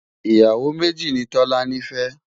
ìyàwó méjì nì tọ̀lání fé